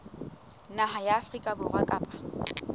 naha ya afrika borwa kapa